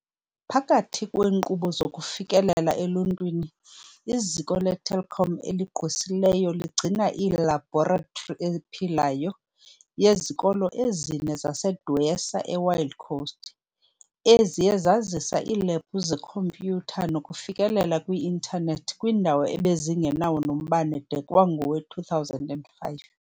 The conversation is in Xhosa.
Phakathi kweenkqubo zokufikelela eluntwini, iZiko leTelkom eliGqwesileyo ligcina "ilabhoratri ephilayo" yezikolo ezine zaseDwesa eWild Coast, eziye zazisa iilebhu zekhompyutha nokufikelela kwi-intanethi kwiindawo ebezingenawo nombane de kwangowe2005.